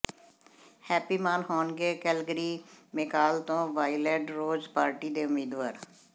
happy Maan ਹੋਣਗੇ Calgary McCall ਤੋਂ Wildrose party ਦੇ ਉਮੀਂਦਵਾਰ